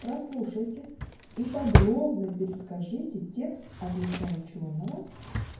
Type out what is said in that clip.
прослушайте и подробно перескажите текст от лица учёного